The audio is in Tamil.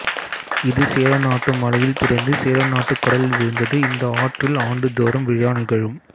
இது சேரநாட்டு மலையில் பிறந்து சேரநாட்டுக் கடலில் விழுந்தது இந்த ஆற்றில் ஆண்டுதோறும் விழா நிகழும்